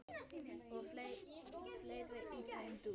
og fleira í þeim dúr.